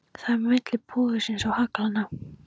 Það er á milli púðursins og haglanna.